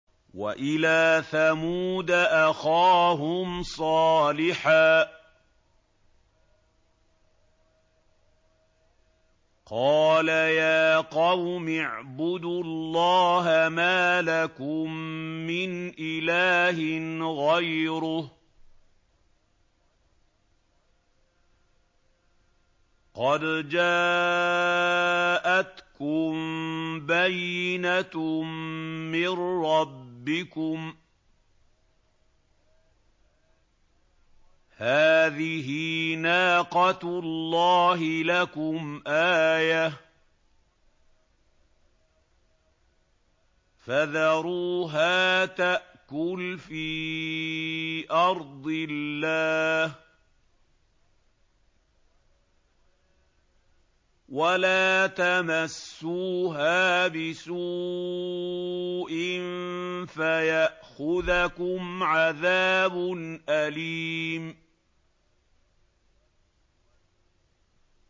وَإِلَىٰ ثَمُودَ أَخَاهُمْ صَالِحًا ۗ قَالَ يَا قَوْمِ اعْبُدُوا اللَّهَ مَا لَكُم مِّنْ إِلَٰهٍ غَيْرُهُ ۖ قَدْ جَاءَتْكُم بَيِّنَةٌ مِّن رَّبِّكُمْ ۖ هَٰذِهِ نَاقَةُ اللَّهِ لَكُمْ آيَةً ۖ فَذَرُوهَا تَأْكُلْ فِي أَرْضِ اللَّهِ ۖ وَلَا تَمَسُّوهَا بِسُوءٍ فَيَأْخُذَكُمْ عَذَابٌ أَلِيمٌ